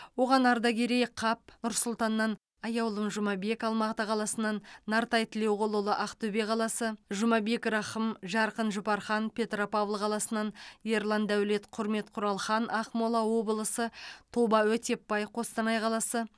оған ардакерей қап нұр сұлтаннан аяулым жұмабек алматы қаласынан нартай тілеуқұлұлы ақтөбе қаласы жұмабек рахым жарқын жұпархан петропавл қаласынан ерлан дәулет құрмет құралхан ақмола облысы тоба өтепбай қостанай қаласы